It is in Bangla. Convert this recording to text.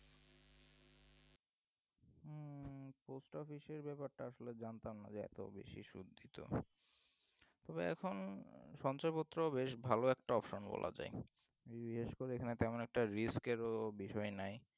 পোস্ট অফিসের ব্যাপারটা আসলে জানতাম না যে এত বেশি সুদ দিত তবে এখন সঞ্চয়পত্র বেশ ভাল একটা option বলা যায় বিশেষ করে এখানে একটা risk এর ও ব্যাপার নাই